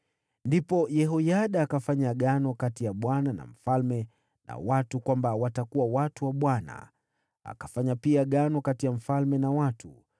Kisha Yehoyada akafanya agano kati ya Bwana na mfalme na watu kwamba watakuwa watu wa Bwana . Akafanya pia agano kati ya mfalme na watu.